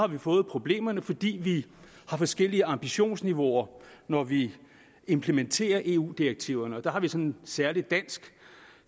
vi fået problemerne fordi vi har forskellige ambitionsniveauer når vi implementerer eu direktiverne der har vi en sådan særlig dansk